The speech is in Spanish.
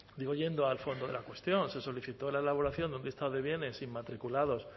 digo yendo al fondo de la cuestión se solicitó la elaboración de un listado de bienes inmatriculados